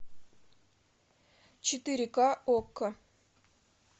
четыре ка окко